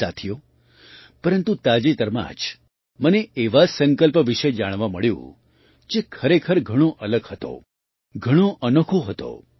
સાથીઓ પરંતુ તાજેતરમાં જ મને એવા સંકલ્પ વિશે જાણવા મળ્યું જે ખરેખર ઘણો અલગ હતો ઘણો અનોખો હતો